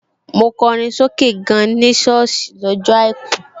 Mo kọrin sókè gan ní sọ́ọ̀sì ní ọjọ́ àìkú